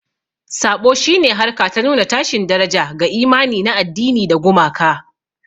Saɓo shi ne harka ta nuna tashin daraja ga imani na addini da gumaka.